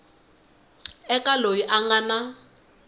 eka loyi a nga na